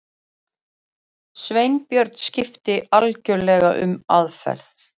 Sveinbjörn skipti algjörlega um aðferð.